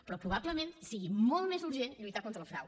però probablement sigui molt més urgent lluitar contra el frau